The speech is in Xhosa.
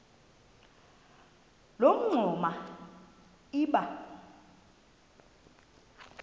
loo mingxuma iba